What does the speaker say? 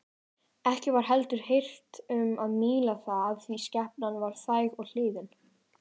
Ekki var heldur hirt um að mýla það af því skepnan var þæg og hlýðin.